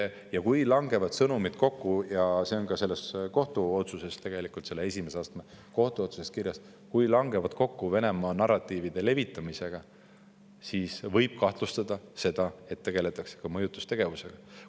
Ja kui sõnumid langevad kokku – see on tegelikult ka selles esimese astme kohtu otsuses kirjas – Venemaa narratiivide levitamisega, siis võib kahtlustada, et tegeldakse ka mõjutustegevusega.